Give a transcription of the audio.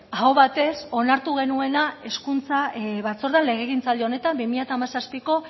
aho batez onartu genuena hezkuntza batzordean legegintzaldi honetan bi mila hamazazpiko